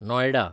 Noida